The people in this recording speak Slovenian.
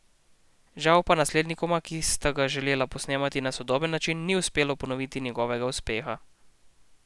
Žal pa naslednikoma, ki sta ga želela posnemati na sodoben način, ni uspelo ponoviti njegovega uspeha.